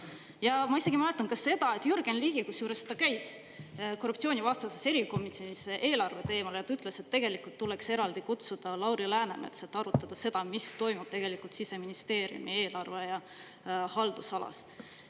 Ja ma isegi mäletan ka seda, et Jürgen Ligi, kusjuures, ta käis korruptsioonivastases erikomisjonis eelarve teemal ja ta ütles, et tegelikult tuleks eraldi kutsuda Lauri Läänemets, et arutada seda, mis toimub tegelikult Siseministeeriumi eelarve- ja haldusalas.